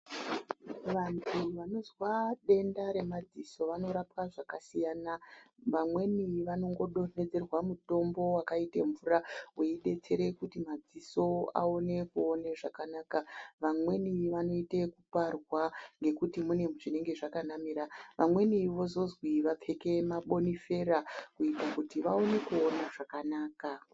Vanhu vanozwa denda remadziso vanorapwa zvakasiyana vamweni vanongo donhedzerwa mutombo wakaite mvura, weidetsere kuti madziso aone kuone zvakanaka, vamweni vanoite ekuparwa ngekuti munenge mune zvakanamira, vamweni vozozwi vapfeke mabonifera kuita kuti vaone kuona zvakanaka.